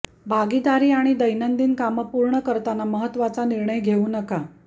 भागीदारी आणि दैनंदिन कामं पूर्ण करताना महत्त्वाचा निर्णय घेऊ नका